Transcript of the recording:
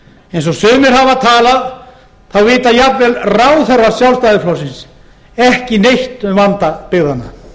eins og sumir hafa talað þá vita jafnvel ráðherrar sjálfstæðisflokksins ekki neitt um vanda byggðanna